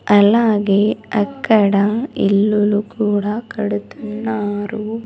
అలాగే అక్కడ ఇల్లులు కూడా కడుతున్నారు.